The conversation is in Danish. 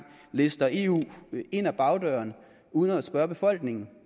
lister eu ind ad bagdøren uden at spørge befolkningen